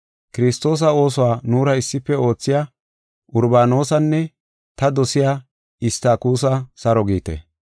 Kiristoosa oosuwa nuura issife oothiya Urbaanosanne ta dosiya Istakuusa saro giite.